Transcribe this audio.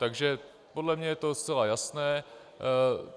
Takže podle mě je to zcela jasné.